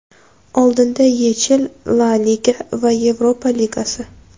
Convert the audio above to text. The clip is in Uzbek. Oldinda YeChL, La Liga va Yevropa Ligasi.